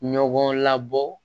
Ɲɔgɔn labɔ